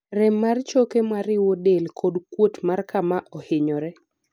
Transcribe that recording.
rem mar choke mariwo del kod kuot mar kama ohinyore